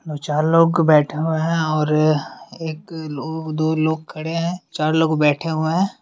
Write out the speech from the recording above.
और चार लोग बैठे हुए हैं और एक लोग दो लोग खड़े हैं चार लोग बैठे हुए हैं।